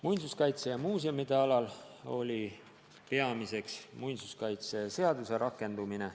Muinsuskaitse ja muuseumide valdkonnas oli peamine muinsuskaitseseaduse rakendumine.